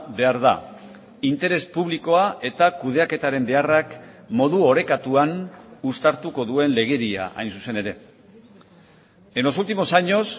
behar da interes publikoa eta kudeaketaren beharrak modu orekatuan uztartuko duen legedia hain zuzen ere en los últimos años